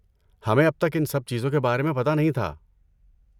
ہمیں اب تک ان سب چیزوں کے بارے میں پتہ نہیں تھا۔